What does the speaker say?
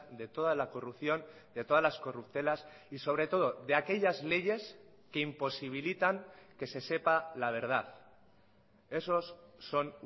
de toda la corrupción de todas las corruptelas y sobre todo de aquellas leyes que imposibilitan que se sepa la verdad esos son